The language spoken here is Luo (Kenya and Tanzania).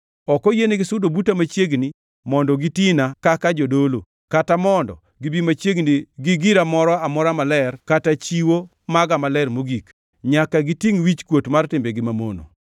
Ok oyienigi sudo buta machiegni mondo gitina kaka jodolo, kata mondo gibi machiegni gi gira moro amora maler, kata gi chiwo maga maler mogik. Nyaka gitingʼ wichkuot mar timbegi mamono.